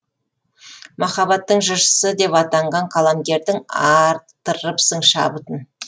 махаббаттың жыршысы деп атанған қаламгердің арттырыпсың шабытын